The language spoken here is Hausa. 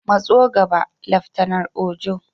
Matso gaba, Laftanar Ojo.